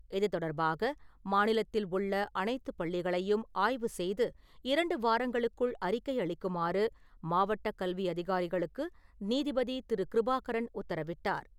இது தொடர்பாக மாநிலத்தில் உள்ள அனைத்து பள்ளிகளையும் ஆய்வு செய்து இரண்டு வாரங்களுக்குள் அறிக்கை அளிக்குமாறு மாவட்ட கல்வி அதிகாரிகளுக்கு நீதிபதி திரு. கிருபாகரன் உத்தரவிட்டார்.